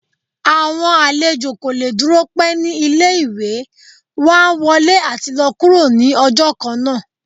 awọn alèjọ ko le dúró pẹ̀ ni ìlé-ìwé, wọn á wọlé ati lọ kúro ni ọjọ kánńa.